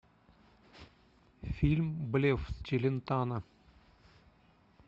фильм блеф с челентано